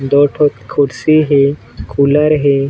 दो ठो कुर्सी हे कुलर हे।